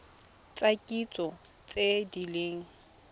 tsa kitso tse di leng